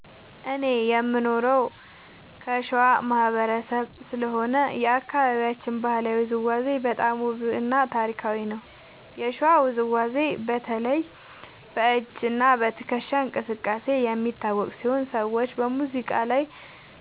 እኔ የምኖረው ከሸዋ ማህበረሰብ ስለሆነ የአካባቢያችን ባህላዊ ውዝዋዜ በጣም ውብ እና ታሪካዊ ነው። የሸዋ ውዝዋዜ በተለይ በ“እጅ እና ትከሻ እንቅስቃሴ” የሚታወቅ ሲሆን ሰዎች በሙዚቃ ላይ